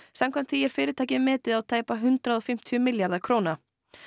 samkvæmt því er fyrirtækið metið á tæpa hundrað og fimmtíu milljarða